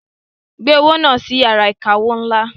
Gbé owó náà lọ sí iyàrá ìkawó ńlá.